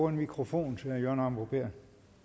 en mikrofon til herre jørgen arbo bæhr